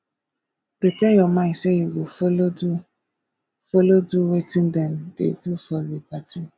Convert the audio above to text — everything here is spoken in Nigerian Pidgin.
prepare your mind say you go follow do follow do wetin dem de do for di party